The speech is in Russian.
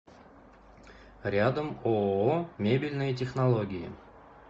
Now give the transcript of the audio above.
рядом ооо мебельные технологии